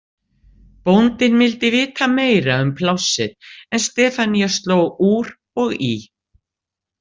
Bóndinn vildi vita meira um plássið en Stefanía sló úr og í.